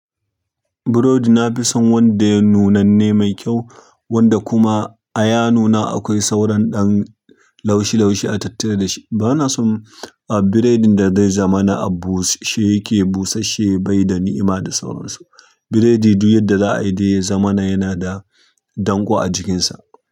Burodi na fi son wanda ya nunanne mai kyau wanda kuma a ya nuna akwai sauran ɗan laushi laushi a tattare da shi. Bana son biredin da zai zama na abushe yake busasshe bai da ni'ima da sauransu. Biredi duk yadda za a yi dai zamana yana da danko a jikinsa.